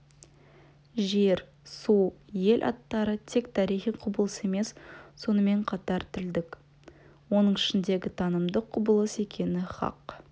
жер су ел аттары тек тарихи құбылыс емес сонымен қатар тілдік оның ішінде танымдық құбылыс екені хақ